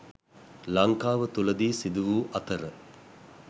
ලංකාව තුළදී සිදුවූ අතර